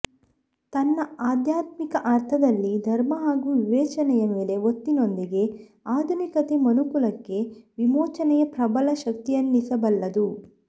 ತನ್ನ ಆಧ್ಯಾತ್ಮಿಕ ಅರ್ಥದಲ್ಲಿ ಧರ್ಮ ಹಾಗೂ ವಿವೇಚನೆಯ ಮೇಲೆ ಒತ್ತಿನೊಂದಿಗೆ ಆಧುನಿಕತೆ ಮನುಕುಲಕ್ಕೆ ವಿಮೋಚನೆಯ ಪ್ರಬಲ ಶಕ್ತಿಯೆನಿಸಬಲ್ಲದು